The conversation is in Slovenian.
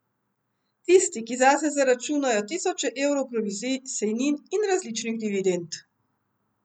Tisti, ki zase zaračunajo tisoče evrov provizij, sejnin in različnih dividend.